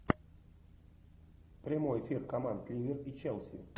прямой эфир команд ливер и челси